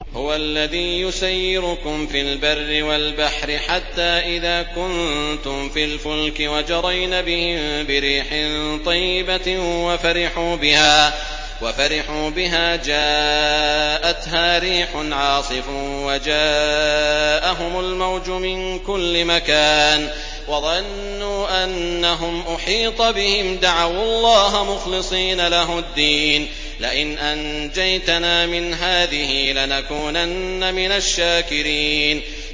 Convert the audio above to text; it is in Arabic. هُوَ الَّذِي يُسَيِّرُكُمْ فِي الْبَرِّ وَالْبَحْرِ ۖ حَتَّىٰ إِذَا كُنتُمْ فِي الْفُلْكِ وَجَرَيْنَ بِهِم بِرِيحٍ طَيِّبَةٍ وَفَرِحُوا بِهَا جَاءَتْهَا رِيحٌ عَاصِفٌ وَجَاءَهُمُ الْمَوْجُ مِن كُلِّ مَكَانٍ وَظَنُّوا أَنَّهُمْ أُحِيطَ بِهِمْ ۙ دَعَوُا اللَّهَ مُخْلِصِينَ لَهُ الدِّينَ لَئِنْ أَنجَيْتَنَا مِنْ هَٰذِهِ لَنَكُونَنَّ مِنَ الشَّاكِرِينَ